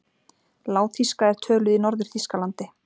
Lágþýska er töluð í Norður-Þýskalandi.